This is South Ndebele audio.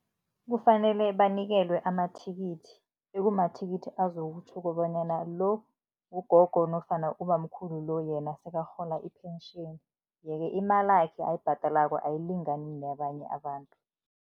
Kufanele banikelwe amathikithi, ekumathikithi azokutjho bonyana lo ngugogo nofana ubamkhulu lo yena sekarhola i-pension, yeke imalakhe ayibhadalako ayilingani neyabanye abantu.